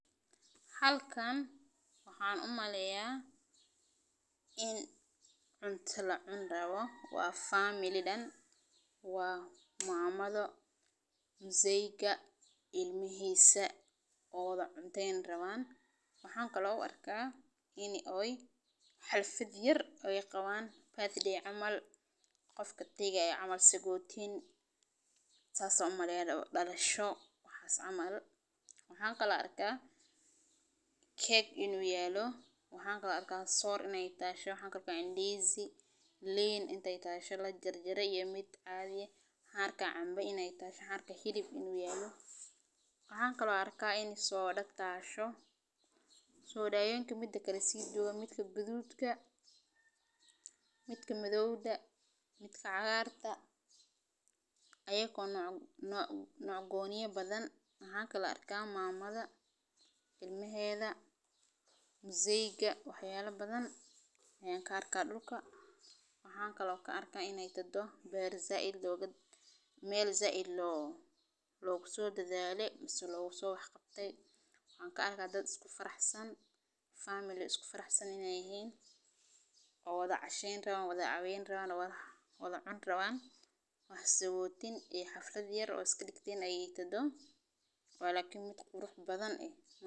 Halkan waxan umaleya in cunta lacuni rawo waa famili dan waa mamadho muzeiga ilmihisa oo wala cunteyn rawan waxan kalo u arka in ee xalfaad yar ee qawan sagotin dalasho yar camal waxas ayan arka, waxan kalo arka keg in u talo waxan kalo arka sor in ee talo waxan kalo arka indisi in u yalo lin in ee talo mid la jar jare iyo mid lajar jarin ba waxan kalo arka canba in ee talasho waxan kalo arka hilib iyo soda in ee tasho sodadha midka gaduda midka cagarta midka madhowda midka noc goniya badan, waxan kalo arka mamada ilmahedha mzeuga wax yala badan ayan arka waxan ka arka dad isku faraxsan in ee yihin oo wadha casheyn rawan xaflaad yar oo sodawen leh badan leh.